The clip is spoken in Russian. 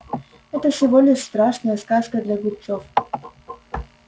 это всего лишь страшная сказка для глупцов